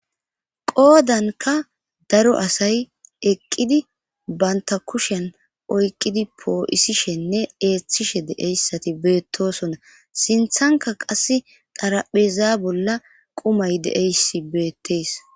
Qoodanka daro asay eqqidi banta kushen oyqqidi poo'isishenne eeththishe de'eyssati beettosonna sinthanka qass darapheza bolla qumay deeyssi beettees.